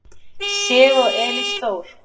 Sif og Elís Þór.